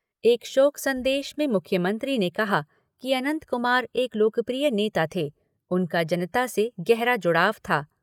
एक शोक सन्देश में मुख्यमंत्री ने कहा कि अनंत कुमार एक लोकप्रिय नेता थे, उनका जनता से गहरा जुड़ाव था।